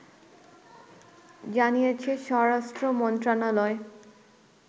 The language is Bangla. জানিয়েছে স্বরাষ্ট্রমন্ত্রণালয়